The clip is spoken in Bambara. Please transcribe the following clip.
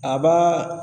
A b'a